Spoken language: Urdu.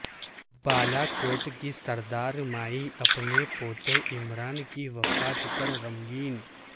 بالا کوٹ کی سردار مائی اپنے پوتے عمران کی وفات پر غمگین